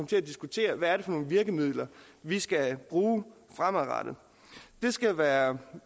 til at diskutere hvad nogle virkemidler vi skal bruge fremadrettet det skal være